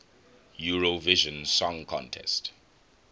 eurovision song contest